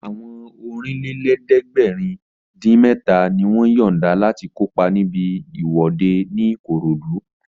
Àwọn Ọ̀rìnlélẹ̀ẹ́dẹ́gbèrin-dín-mẹ́ta ni wọ́n yọ̀nda láti kópa níbi ìwọ́de ní Ìkòròdú